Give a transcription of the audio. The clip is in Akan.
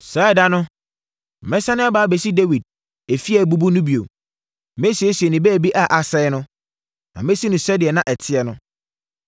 “Saa ɛda no, mɛsane aba abɛsi “Dawid efie a abubu no bio. Mɛsiesie ne baabi a asɛeɛ no, na masi no sɛdeɛ na ɛteɛ no,